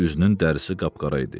Üzünün dərisi qapqara idi.